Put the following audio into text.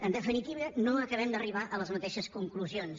en definitiva no acabem d’arribar a les mateixes conclusions